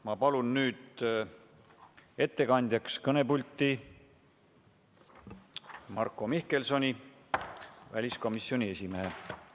Ma palun nüüd ettekandjaks kõnepulti Marko Mihkelsoni, väliskomisjoni esimehe.